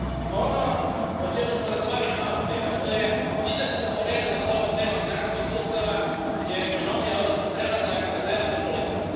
Ono o čemu smo razgovarali maloprije, a što je izrazito povezano s ovom temom financijskih sustava, je ekonomija, odnosno prelazak na zelene politike.